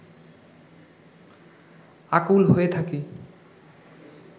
আকুল হয়ে থাকি